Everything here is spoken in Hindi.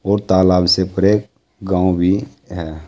और तालाब से परे गांव भी हैं।